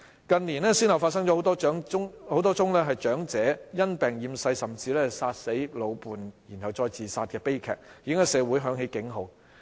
近年先後發生多宗長者因病厭世，甚至殺死老伴後再自殺的悲劇，已在社會響起警號。